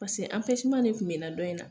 Pase de tun bɛ na dɔn in na.